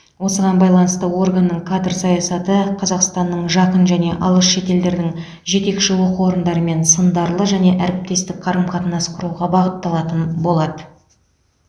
осыған байланысты органның кадр саясаты қазақстанның жақын және алыс шетелдердің жетекші оқу орындарымен сындарлы және әріптестік қарым қатынас құруға бағытталатын болады